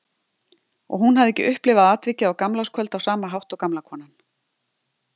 Og hún hafði ekki upplifað atvikið á gamlárskvöld á sama hátt og gamla konan.